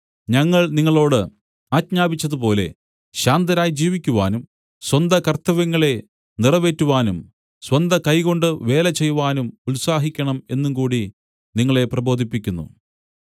ഞങ്ങൾ നിങ്ങളോടു ആജ്ഞാപിച്ചതുപോലെ ശാന്തരായി ജീവിക്കുവാനും സ്വന്തകർത്തവ്യങ്ങളെ നിറവേറ്റുവാനും സ്വന്തകൈകൊണ്ടു വേല ചെയ്‌വാനും ഉത്സാഹിക്കണം എന്നുംകൂടി നിങ്ങളെ പ്രബോധിപ്പിക്കുന്നു